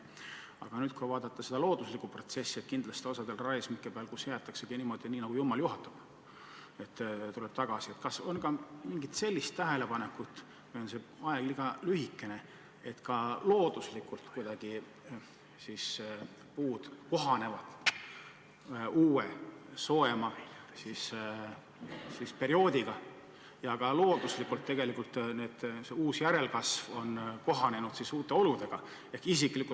Aga kui nüüd vaadata seda looduslikku protsessi – kindlasti osal raiesmikel jäetaksegi kõik niimoodi, nagu jumal juhatab –, siis kas on tehtud ka selliseid tähelepanekuid – või on see aeg olnud liiga lühike –, et puud ka looduslikult kuidagi kohanevad soojema perioodiga ja ka see uus looduslik järelkasv kohaneb uute oludega?